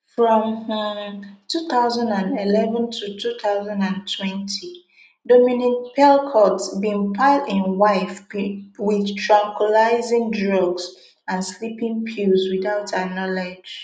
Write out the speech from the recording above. from um two thousand and eleven to two thousand and twenty dominique pelicot bin pile im wife wit tranquilising drugs and sleeping pills without her knowledge